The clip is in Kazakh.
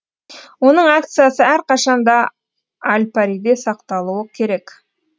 оның акциясы әрқашан да альпариде сақталуы керек